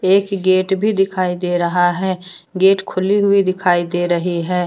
एक गेट भी दिखाई दे रहा है गेट खुली हुई दिखाई दे रही है।